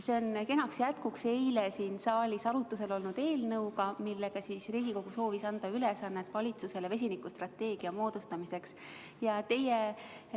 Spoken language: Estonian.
See on kenaks jätkuks eile siin saalis arutlusel olnud eelnõule, millega Riigikogu soovis anda valitsusele ülesande töötada välja vesinikustrateegia.